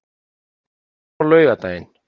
en á laugardaginn